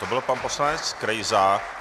To byl pan poslanec Krejza.